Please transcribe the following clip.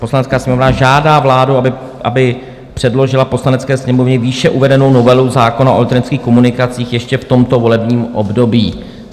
Poslanecká sněmovna žádá vládu, aby předložila Poslanecké sněmovně výše uvedenou novelu zákona o elektronických komunikacích ještě v tomto volebním období."